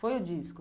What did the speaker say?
Foi o disco.